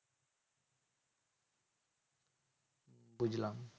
বুঝলাম